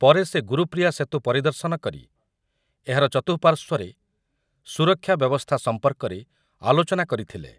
ପରେ ସେ ଗୁରୁପ୍ରିୟା ସେତୁ ପରିଦର୍ଶନ କରି ଏହାର ଚତୁଃପାର୍ଶ୍ୱରେ ସୁରକ୍ଷା ବ୍ୟବସ୍ଥା ସମ୍ପର୍କରେ ଆଲୋଚନା କରିଥିଲେ ।